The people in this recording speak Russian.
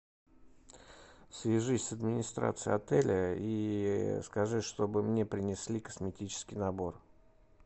свяжись с администрацией отеля и скажи чтобы мне принесли косметический набор